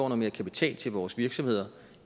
mere kapital til vores virksomheder